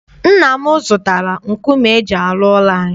Nna m zụtara nkume eji arụ ụlọ anyị.